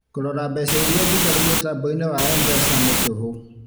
Kũrora mbeca iria ndigaru mũtambo-inĩ wa MPESA nĩ tũhũ